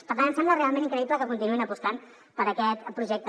per tant em sembla realment increïble que continuïn apostant per aquest projecte